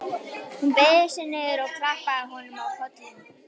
Hún beygði sig niður og klappaði honum á kollinn.